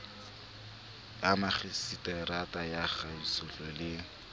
ya makgiseterata ya kagisohape le